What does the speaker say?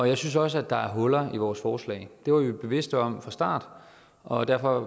jeg synes også der er huller i vores forslag det var vi bevidste om fra starten og derfor